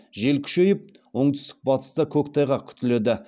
жел күшейіп оңтүстік батыста көктайғақ күтіледі